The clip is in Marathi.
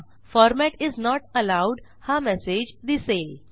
फॉर्मॅट इस नोट एलोव्ड हा मेसेज दिसेल